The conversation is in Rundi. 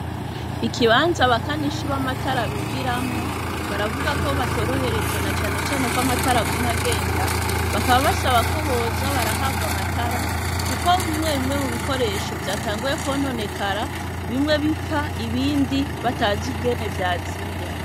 Ikibanza, abakanishi b'amatara bigiramwo, baravuga ko, batoroherejwe, na cane cane ko, amatara aguma agenda; bakaba basaba ko, boza barahabwa amatara, kuko bimwe bimwe, mu bikoresho, vyatanguye kwononekara, bimwe bipfa, ibindi, batazi ingene vyazimye.